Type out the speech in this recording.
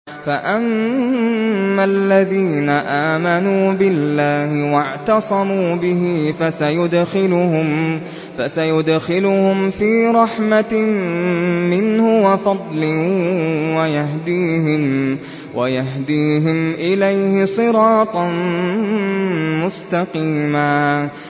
فَأَمَّا الَّذِينَ آمَنُوا بِاللَّهِ وَاعْتَصَمُوا بِهِ فَسَيُدْخِلُهُمْ فِي رَحْمَةٍ مِّنْهُ وَفَضْلٍ وَيَهْدِيهِمْ إِلَيْهِ صِرَاطًا مُّسْتَقِيمًا